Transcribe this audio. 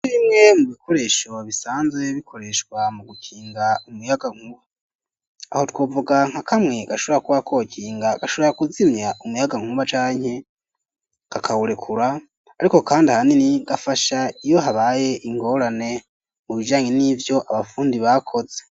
Bimwe mu bikoresho bisanzwe bikoreshwa mu gukinga umuyagankuba aho twovuga nka kamwe gashora kuba kokinga gashora kuzimya umuyagankuba canke kakawurekura ariko kandi ahanini gafasha iyo habaye ingorane mu bijanye n'ivyo abafundi bakoze.